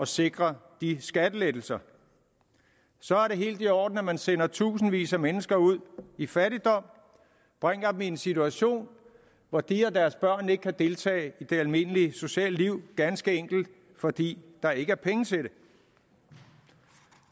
sikre de skattelettelser så er det helt i orden at man sender tusindvis af mennesker ud i fattigdom bringer dem i en situation hvor de og deres børn ikke kan deltage i det almindelige sociale liv ganske enkelt fordi der ikke er penge til det